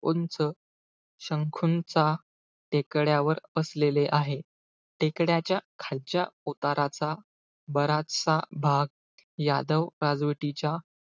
उंच शंकूच्या टेकड्यावर वसलेले आहे. टेकड्याच्या खालच्या उताराचा बराचसा भाग यादव राजवटीच्या,